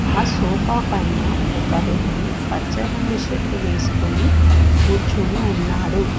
ఆ సోఫా పైన ఒక వ్యక్తి పచ్చ రంగు షర్ట్ వేసుకొని కూర్చుని ఉన్నాడు.